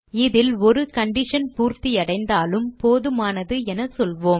இதில் ஒரு கண்டிஷன் பூர்த்தியடைந்தாலும் போதுமானது என சொல்வோம்